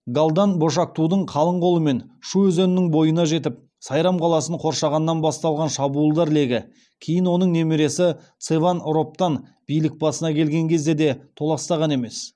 галдан бошоктудың қалың қолмен шу өзенінің бойына жетіп сайрам қаласын қоршағаннан басталған шабуылдар легі кейін оның немересі цеван робтан билік басына келген кезде де толастаған емес